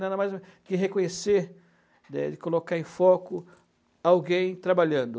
Nada mais do que reconhecer, né, de colocar em foco alguém trabalhando.